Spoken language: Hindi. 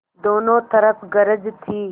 दोनों तरफ गरज थी